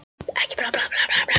Þá kom upp hugmyndin um gryfjurnar.